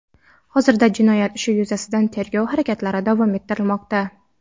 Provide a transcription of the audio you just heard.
Hozirda jinoyat ishi yuzasidan tergov harakatlari davom ettirilmoqda.